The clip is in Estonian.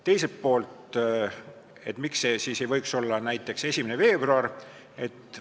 Teiselt poolt, miks see ei võiks olla näiteks 1. veebruar?